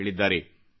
ಎಂದು ಹೇಳಿದ್ದಾರೆ